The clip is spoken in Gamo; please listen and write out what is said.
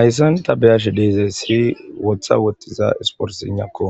Ayssan ta beyashe deezesii wotha wottiza isporinakko